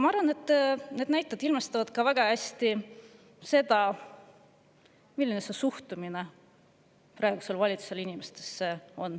Ma arvan, et need näited ilmestavad väga hästi seda, milline on praeguse valitsuse suhtumine inimestesse.